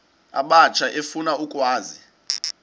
abatsha efuna ukwazi